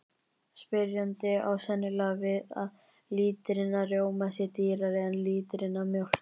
Spyrjandi á sennilega við að lítrinn af rjóma sé dýrari en lítrinn af mjólk.